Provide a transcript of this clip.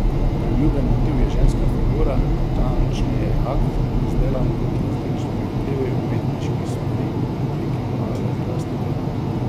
Priljubljen motiv je ženska figura, natančneje akt, izdelan pod različnimi vplivi umetniških smeri v obliki male plastike.